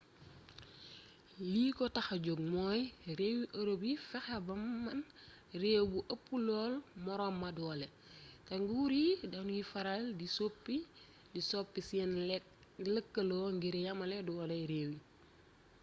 li ko taxa jog mooy réewi ërop yi fexe ba menn réew du ëpp lool moroom ma doole te nguur yi danuy faral di soppi seen lëkkaloo ngir yamale dooley réew yi